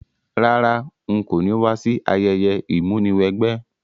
Rárá, n ko ni wa si ayẹyẹ ìmúniwẹgbẹ́